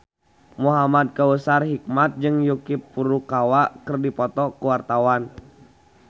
Muhamad Kautsar Hikmat jeung Yuki Furukawa keur dipoto ku wartawan